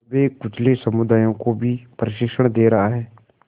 दबेकुचले समुदायों को भी प्रशिक्षण दे रहा है